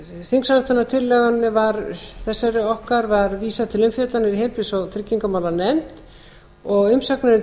þingsályktunartillögu þessari okkar var vísað til umfjöllunar í heilbrigðis og trygginganefnd umsagnir um